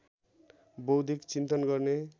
बौद्धिक चिन्तन गर्ने